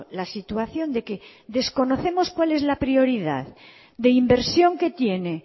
la situación de que desconocemos cuál es la prioridad de inversión que tiene